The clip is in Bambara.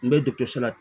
N bɛ dɔkitɛriso la